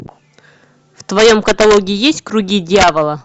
в твоем каталоге есть круги дьявола